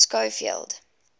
schofield